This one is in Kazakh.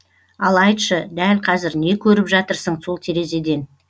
ал айтшы дәл қазір не көріп жатырсың сол терезеден